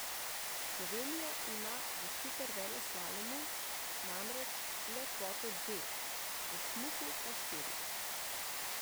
Slovenija ima v superveleslalomu namreč le kvoto dveh, v smuku pa štirih.